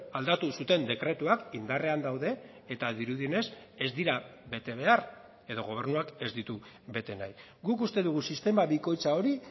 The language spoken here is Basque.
aldatu zuten dekretuak indarrean daude eta dirudienez ez dira bete behar edo gobernuak ez ditu bete nahi guk uste dugu sistema bikoitza hori